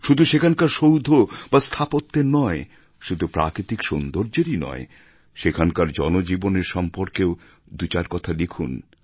শুধু সেখানকার সৌধ বা স্থাপত্যের নয় শুধু প্রাকৃতিক সৌন্দর্যেরই নয় সেখানকার জনজীবনের সম্পর্কেও দু চার কথা লিখুন